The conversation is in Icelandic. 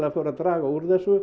fór að draga úr þessu